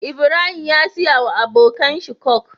Ibrahim ya siya wa abokan shi coke